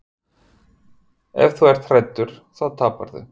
Ef þú ert hræddur þá taparðu.